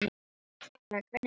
Tekla, hvernig er veðrið úti?